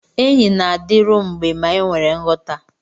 Enyi na-adịru mgbe ma enwere nghọta.